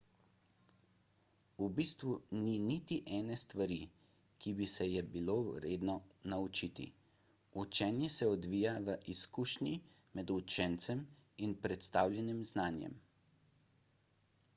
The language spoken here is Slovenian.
v bistvu ni niti ene stvari ki bi se je bilo vredno naučiti učenje se odvija v izkušnji med učencem in predstavljenim znanjem